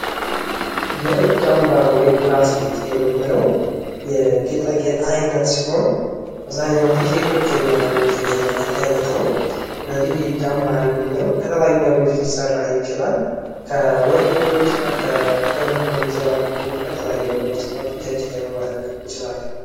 የእጅ አምባር ወይም ብራዝሌት የምንለው የጌጣጌጥ ዓይነት ሲሆን አብዛኛውን ጊዜ ሴቶች የሚያደርጉት የጌጣጌጥ አይነት ነው። ስለዚህ የእጅ አምባር የምንለው ከተለያዩ ነገሮች ሊሰራ ይችላል። ከወርቅ ሊሆን ይችላል፣ ከብር ሊሆን ይችላል ከተለያዩ ነገሮች ተሰርቶ እጃችን ላይ ማድረግ እንችላለን።